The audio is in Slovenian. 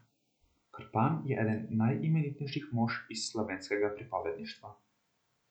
Krpan je eden najeminentnejših mož iz slovenskega pripovedništva.